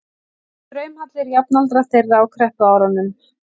draumahallir jafnaldra þeirra á kreppuárunum.